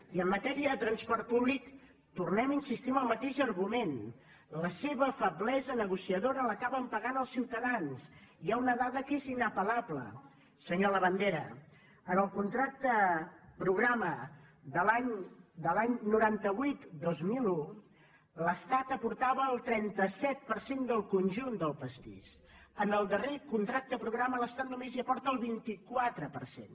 i en matèria de transport públic tornem a insistir en el mateix argument la seva feblesa negociadora l’acaben pagant els ciutadans hi ha una dada que és inapel·lable senyor labandera en el contracte programa de l’any noranta vuit dos mil un l’estat aportava el trenta set per cent del conjunt del pastís en el darrer contracte programa l’estat només hi aporta el vint quatre per cent